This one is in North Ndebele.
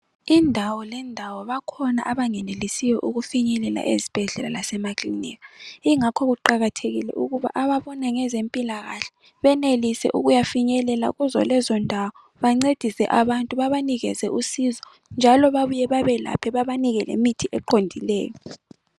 Indawo lendawo bakhona abangenelisiyo ukufinyelela ezibhedlela lasemaklinika ingakho kuqakathekile ukuba ababona ngezempilakahle benelise ukuyafinyelela kuzolezondawo bancedise abantu babanikeze usizo njalo babuye babelaphe bebanike lemithi eqondileyo.